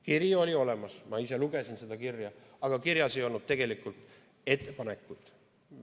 Kiri oli olemas, ma ise lugesin seda kirja, aga kirjas ei olnud tegelikult ettepanekut.